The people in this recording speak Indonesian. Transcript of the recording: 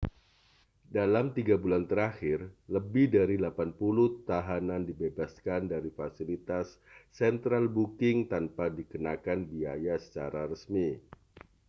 dalam 3 bulan terakhir lebih dari 80 tahanan dibebaskan dari fasilitas central booking tanpa dikenakan biaya secara resmi